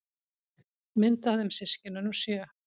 Mynd af þeim systkinunum sjö.